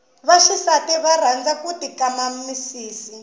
vaxisati va rhanza ku ti kama misidi